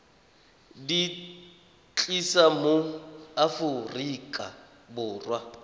di tlisa mo aforika borwa